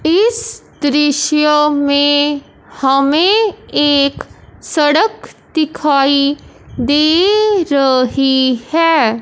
इस दृश्य में हमें एक सड़क दिखाई दे रही है।